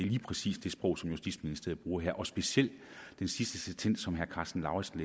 lige præcis det sprog som justitsministeriet bruger her og specielt den sidste sentens som herre karsten lauritzen